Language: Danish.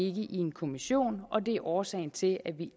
i en kommission og det er årsagen til at vi